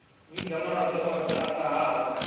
vhiga malwadze oṱhe a ṱahaho